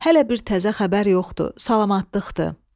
Hələ bir təzə xəbər yoxdur, salamatlıqdır.